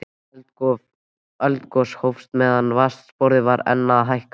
Eldgos hófst meðan vatnsborðið var enn að hækka.